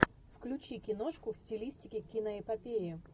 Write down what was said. включи киношку в стилистике киноэпопеи